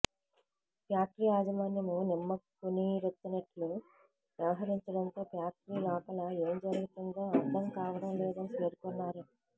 factory యాజమాన్యం నిమ్మకునీరెత్తినట్లు వ్యవహరించడంతో ఫ్యాక్టరీ లోపల ఏం జరుగుతుందో అర్థం కావడం లేదని పేర్కొన్నారు